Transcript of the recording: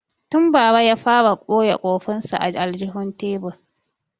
Tun bara ya fara boye kurfin sa a aljihun tebur